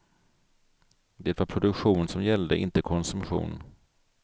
Det var produktion som gällde, inte konsumtion.